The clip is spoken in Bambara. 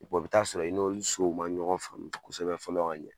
i bɛ taa sɔrɔ i n'olu sow ma ɲɔgɔn faamu kosɛbɛ fɔlɔ ka ɲɛ.